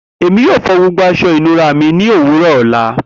Emi yoo fo gbogbo aṣọ ìnura mi ni owurọ ọla.